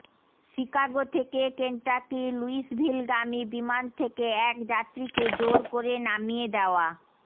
Chicago থেকে কেন্টাকির লুইসভিলগামী বিমান থেকে এক যাত্রীকে জোর করে নামিয়ে দেওয়া